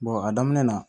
a daminɛ na